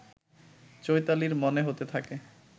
চৈতালীর মনে হতে থাকে